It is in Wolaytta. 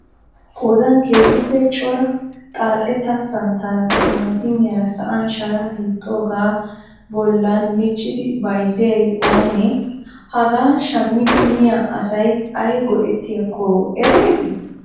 Qoodaan keehippe cora xaatta santtaara timatimiyaara sa'an shara hiixxooga bollan miccidi bayizziyay oonee? Haga shammidi miyaa asayi ayi go''ettiiykko erettii?